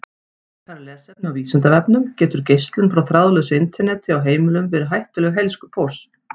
Frekara lesefni á Vísindavefnum: Getur geislun frá þráðlausu Interneti á heimilum verið hættuleg heilsu fólks?